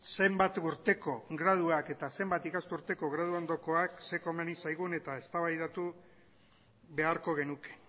zenbat urteko graduak eta zenbat ikasturteko gradu ondokoak zer komeni zaigun eta eztabaidatu beharko genuke